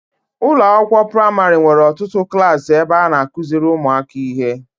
Ụlọakwụkwọ praịmarị nwere ọtụtụ klaasị ebe a na-akụziri ụmụaka ihe.